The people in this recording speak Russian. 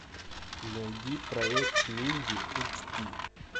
найди проект минди эйч ди